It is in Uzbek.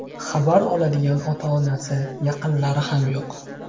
Xabar oladigan ota-onasi, yaqinlari ham yo‘q.